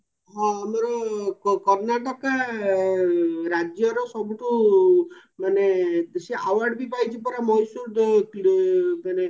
ହଁ ଆମର କର୍ଣାଟକା ରାଜ୍ୟର ସବୁଠୁ ମାନେ ସିଏ award ବି ପାଇଛି ପରା ମହେଶ୍ଵର ଯୋଉ ମାନେ